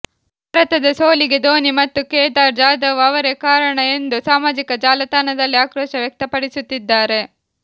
ಭಾರತದ ಸೋಲಿಗೆ ಧೋನಿ ಮತ್ತು ಕೇದಾರ್ ಜಾಧವ್ ಅವರೇ ಕಾರಣ ಎಂದು ಸಾಮಾಜಿಕ ಜಾಲತಾಣದಲ್ಲಿ ಆಕ್ರೋಶ ವ್ಯಕ್ತಪಡಿಸುತ್ತಿದ್ದಾರೆ